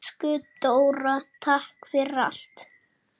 Elsku Dóra, takk fyrir allt.